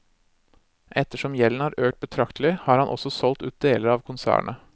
Ettersom gjelden har økt betraktelig, har han også solgt ut deler av konsernet.